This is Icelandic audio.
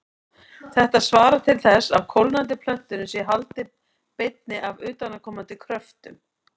Þetta svarar til þess að kólnandi plötunni sé haldið beinni af utanaðkomandi kröftum.